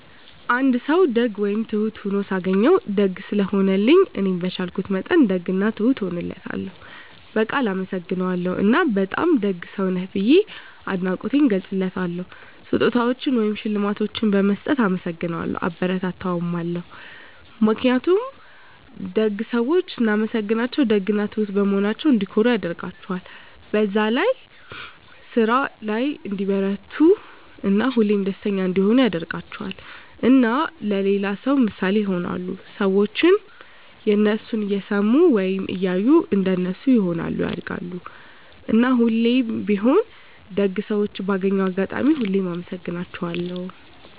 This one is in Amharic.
አንድ ሰዉ ደግ ወይም ትሁት ሁኖ ሳገኘዉ፤ ደግ ስለሆነልኝ እኔም በቻልኩት መጠን ደግ እና ትሁት እሆንለታለሁ፣ በቃል አመሰግነዋለሁ እና በጣም ደግ ሰዉ ነህ ብዬ አድናቆቴንም እገልፅለታለሁ። ስጦታዎችን ወይም ሽልማቶችን በመስጠት እናመሰግነዋለሁ (አበረታታዋለሁ) ። ምክንያቱም ደግ ሰዎችን ስናመሰግናቸዉ ደግ እና ትሁት በመሆናቸዉ እንዲኮሩ ያደርጋቸዋል፣ በዛ ስራ ላይ እንዲበረታቱ እና ሁሌም ደስተኛ እንዲሆኑ ያደርጋቸዋል። እና ለሌላ ሰዉ ምሳሌ ይሆናሉ። ሰዎችም የነሱን እየሰሙ ወይም እያዩ እንደነሱ ይሆናሉ (ያደርጋሉ)። እና ሁሌም ቢሆን ደግ ሰዎችን ባገኘሁት አጋጣሚ ሁሉ አመሰግናቸዋለሁ።